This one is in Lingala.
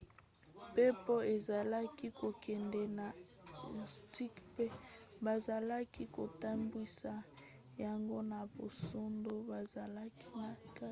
mpepo ezalaki kokende na irkoutsk mpe bazalaki kotambwisa yango na basoda bazalaki na kati